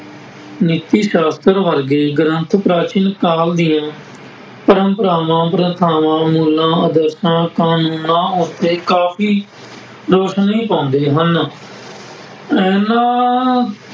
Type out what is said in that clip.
ਨੀਤੀ ਸਾਸ਼ਤਰ ਵਰਗੇ ਗ੍ਰੰਥ ਪ੍ਰਾਚੀਨ ਕਾਲ ਦੀਆਂ ਪ੍ਰੰਪਰਾਵਾਂ ਪ੍ਰਥਾਵਾਂ ਮੁੱਲਾਂ ਆਦਰਸ਼ਾਂ ਕਾਨੂੰਨਾਂ ਅਤੇ ਕਾਫੀ ਰੋਸ਼ਨੀ ਪਾਉਂਦੇ ਹਨ। ਇਹਨਾ